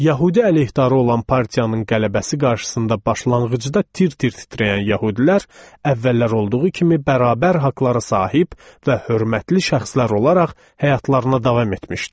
Yəhudi əleyhdarı olan partiyanın qələbəsi qarşısında başlanğıcı da tir-tir titrəyən yəhudilər əvvəllər olduğu kimi bərabər haqqlara sahib və hörmətli şəxslər olaraq həyatlarına davam etmişdilər.